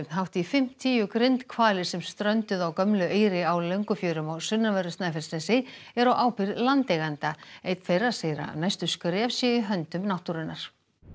hátt í fimmtíu grindhvalir sem strönduðu á gömlu Eyri á Löngufjörum á sunnanverðu Snæfellsnesi eru á ábyrgð landeiganda einn þeirra segir að næstu skref séu í höndum náttúrunnar